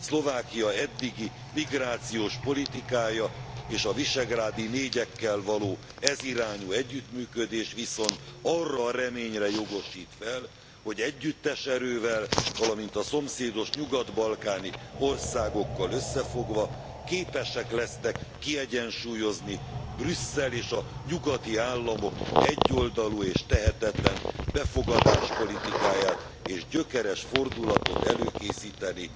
Szlovákia eddigi migrációs politikája, és a visegrádi négyekkel való ez irányú együttműködés viszont arra a reményre jogosít fel, hogy együttes erővel, valamint a szomszédos nyugat balkáni országokkal összefogva képesek lesznek kiegyensúlyozni Brüsszel és a nyugati államok egyoldalú és tehetetlen befogadás politikáját, és gyökeres fordulatot előkészíteni